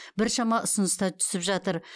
біршама ұсыныс та түсіп жатыр